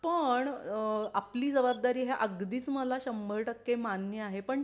पण अ अ आपली जबाबदारी हे अगदीच मला शंभर टक्के मान्य आहे पण